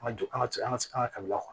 An ka jɔ an ka cɛ ka se an ka kabila kɔnɔ